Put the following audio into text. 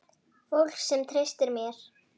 Fólk sem treysti mér.